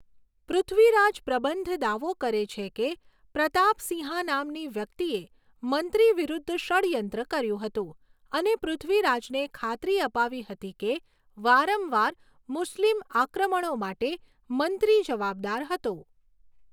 પૃથ્વીરાજ પ્રબંધ દાવો કરે છે કે પ્રતાપ સિંહા નામની વ્યક્તિએ મંત્રી વિરુદ્ધ ષડ્યંત્ર કર્યું હતું અને પૃથ્વીરાજને ખાતરી અપાવી હતી કે વારંવાર મુસ્લિમ આક્રમણો માટે મંત્રી જવાબદાર હતો.